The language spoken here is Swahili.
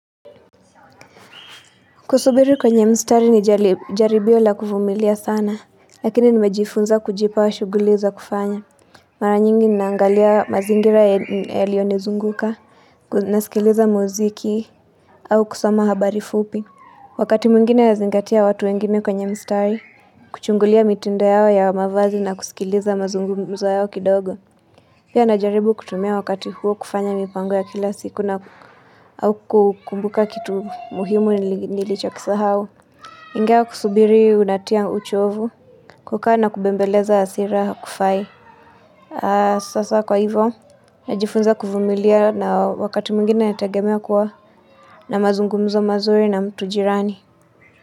Kusubiri kwenye mstari ni jaribio la kuvumilia sana Lakini nimejifunza kujipa shughuli za kufanya Mara nyingi ninaangalia mazingira yaliyo nizunguka nasikiliza muziki au kusoma habari fupi Wakati mwingine nazingatia watu wengine kwenye mstari Kuchungulia mitindo yao ya mavazi na kusikiliza mazungumzo yao kidogo Pia najaribu kutumia wakati huo kufanya mipango ya kila siku na au kukumbuka kitu muhimu nilichokisau. Ingewa kusubiri unatia uchovu, kukaa na kubembeleza asira hakufai. Sasa kwa hivyo, najifunza kuvumilia na wakati mwingina netengemea kuwa na mazungumzo mazuri na mtu jirani.